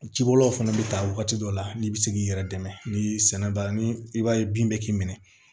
Ci bolo fana bɛ ta waati dɔ la n'i bɛ se k'i yɛrɛ dɛmɛ ni sɛnɛgali i b'a ye bin bɛ k'i minɛ